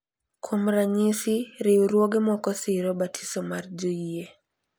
Kuom ranyisi, riwruoge moko siro "batiso mar joyie,"